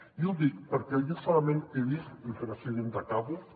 i ho dic perquè jo solament he vist i presidenta acabo